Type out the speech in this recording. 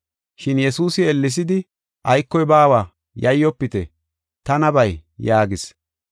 Shin Yesuusi ellessidi, “Aykoy baawa! Yayyofite! Tanabay” yaagis.